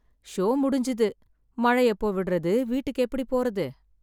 Show முடிஞ்சது. மழை எப்போ விடுறது? வீட்டுக்கு எப்படி போறது?